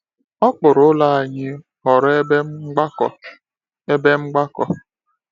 Okpuru ụlọ anyị ghọrọ ebe mgbakọ. ebe mgbakọ.